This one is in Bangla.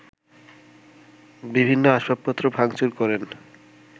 বিভিন্ন আসবাবপত্র ভাঙচুর করেন